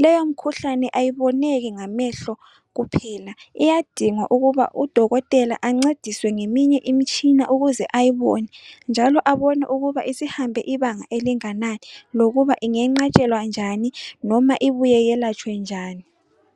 leyo mkhuhlane ayiboneki ngamehlo kuphela iyadinga ukuba udokotela ancediswe ngeminye imtshina ukuze ayibone njalo abone ukuba isihambe ibanga elingananani lokuba ingenqatshelwa njani noma ibuye iyelatshwe njani